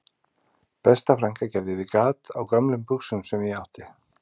Besta frænka gerði við gat á gömlum buxum sem ég átti